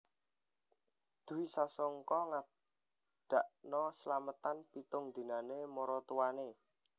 Dwi Sasongko ngadakno selametan pitung dinane maratuwane